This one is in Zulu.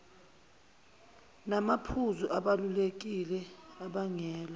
namaphuzu abalulekile abangela